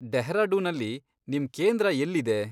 ಡೆಹ್ರಾಡೂನಲ್ಲಿ ನಿಮ್ ಕೇಂದ್ರ ಎಲ್ಲಿದೆ?